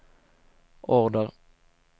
order